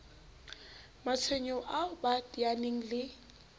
matshwenyeho ao ba teaneng le